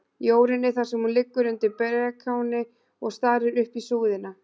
Jórunni, þar sem hún liggur undir brekáni og starir upp í súðina.